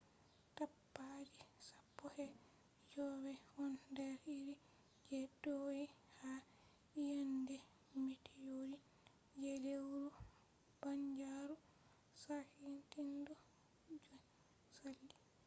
tapaji sappo e jowey ɗon nder iri je do’i ha iyende mitiorit je lewru banjaaru sakitindu je saali